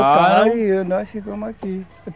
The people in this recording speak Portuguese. Voltaram e nós ficamos aqui.